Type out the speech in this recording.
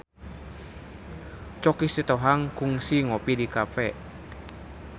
Choky Sitohang kungsi ngopi di cafe